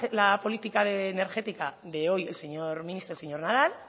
la política energética de hoy de el señor ministro el señor nadal